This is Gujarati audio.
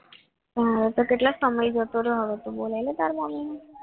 હવે તો કેટલો સમય જતો રહ્યો હોય તો બોલે તારા મમ્મીને